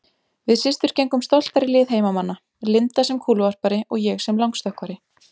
Við systur gengum stoltar í lið heimamanna, Linda sem kúluvarpari og ég sem langstökkvari.